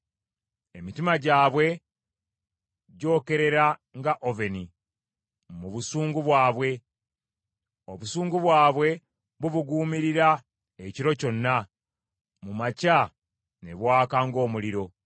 Emitima gyabwe gyokerera nga oveni mu busungu bwabwe; Obusungu bwabwe bubuguumirira ekiro kyonna; mu makya ne bwaka ng’omuliro.